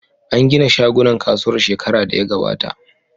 An gina shagunan kasuwar shekara da ya gabata.